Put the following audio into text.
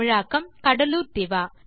தமிழாக்கம் கடலூர் திவா